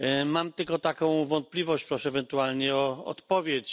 Mam tylko jedną wątpliwość i proszę ewentualnie o odpowiedź.